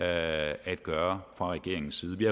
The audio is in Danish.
at gøre fra regeringens side vi